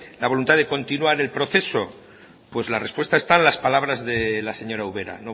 la voluntad de continuar el proceso pues la respuesta está en las palabras de la señora ubera